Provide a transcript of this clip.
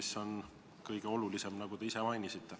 See on ju kõige olulisem, nagu te ise ka märkisite.